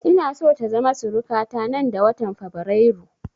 Ina so ta zama suruka ta nan da watan fabrairu